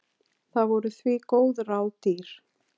Það voru því góð ráð dýr.